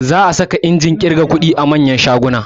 Za a fara saka injin ƙirga kuɗi a manya manyan shaguna